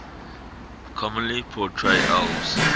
commonly portray elves